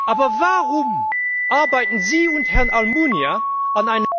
Aber warum arbeiten Sie und Herr Almunia an